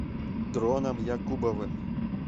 дроном якубовым